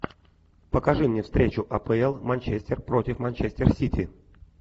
покажи мне встречу апл манчестер против манчестер сити